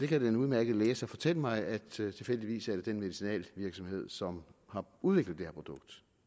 kan den udmærkede læge fortælle mig at det tilfældigvis er den medicinalvirksomhed som har udviklet det her produkt